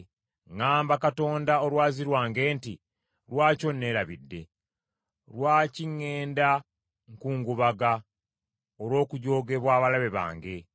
Ŋŋamba Katonda, olwazi lwange nti, “Lwaki onneerabidde? Lwaki ŋŋenda nkungubaga olw’okujoogebwa abalabe bange?”